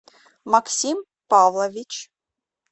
максим павлович